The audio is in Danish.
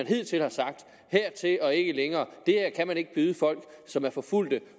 hidtil sagt hertil og ikke længere det her kan man ikke byde folk som er forfulgte